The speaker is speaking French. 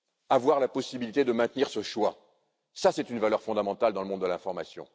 Avoir la possibilité de maintenir ce choix, c'est une valeur fondamentale dans le monde de l'information.